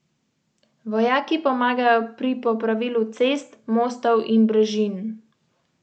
Tako sta dva izmed njenih konj alergična tudi na jabolka.